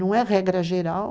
Não é regra geral.